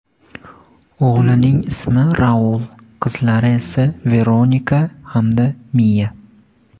O‘g‘lining ismi Raul, qizlari esa Veronika hamda Miya.